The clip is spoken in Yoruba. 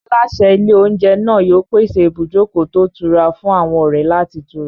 Aláṣẹ ilé-oúnjẹ náà yóò pèsè ibùjókòó tó ìtura fún àwọn ọ̀rẹ́ láti tura.